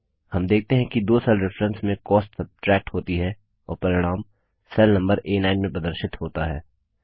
हम देखते हैं कि दो सेल रेफरेंस में कॉस्ट सब्ट्रैक्ट होती है और परिणाम सेल नम्बर आ9 में प्रदर्शित होता है